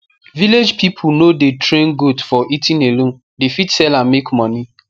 village ppipul no the train goat for eating alone dey fit sell am make moni